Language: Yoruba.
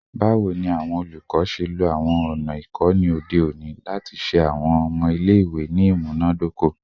Bawo ni awọn olukọ ṣe lo awọn ọna ikọni ode oni lati ṣe awọn ọmọ ile-iwe ni imunadoko?